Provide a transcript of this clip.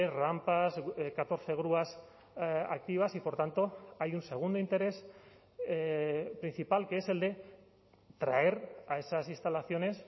rampas catorce grúas activas y por tanto hay un segundo interés principal que es el de traer a esas instalaciones